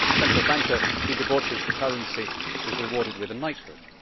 a central banker who debauches the currency is rewarded with a knighthood.